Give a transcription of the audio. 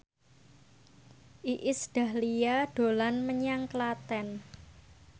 Iis Dahlia dolan menyang Klaten